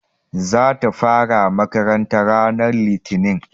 Za ta fara makaranta ran litinin